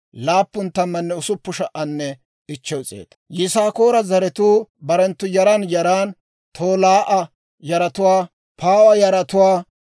Yisaakoora zaratuu barenttu yaran yaran: Tolaa'a yaratuwaa, Puuwa yaratuwaa,